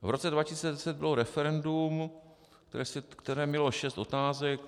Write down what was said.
V roce 2010 bylo referendum, které mělo šest otázek.